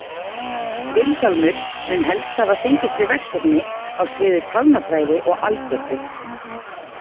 Vilhjálmur mun helst hafa fengist við verkefni á sviði talnafræði og algebru.